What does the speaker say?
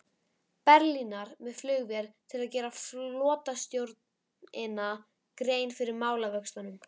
Berlínar með flugvél til að gera flotastjórninni grein fyrir málavöxtum.